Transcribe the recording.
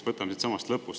Võtame siitsamast lõpust.